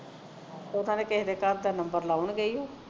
ਉਦਾਂ ਤੇ ਕਿਸੇ ਦੇ ਘਰ ਦਾ number ਲਗਾਉਣਗੇ ਉਹ